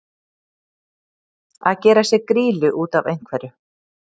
Að gera sér grýlu út af einhverju